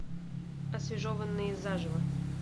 освежеванные заживо